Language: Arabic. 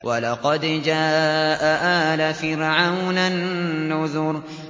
وَلَقَدْ جَاءَ آلَ فِرْعَوْنَ النُّذُرُ